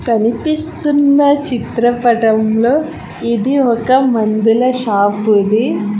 కనిపిస్తున్న చిత్రపటంలో ఇది ఒక మందుల షాపు ఇది.